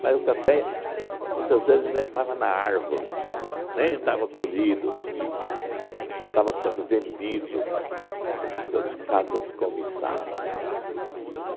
Mas o café, muitas vezes, ainda estava na árvore, nem estava colhido ainda, já estava sendo vendido pelas casas-comissárias.